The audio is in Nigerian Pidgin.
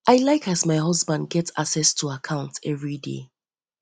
i like as my husband dey um um get access to account everyday um